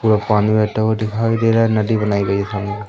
पूरा पानी बहता हुआ दिखाई दे रहा है नदी बनाई गयी खाई में।